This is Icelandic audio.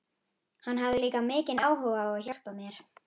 Hann hafði líka mikinn áhuga á að hjálpa mér.